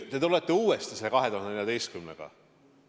Te tulete uuesti selle 2014. aasta juurde.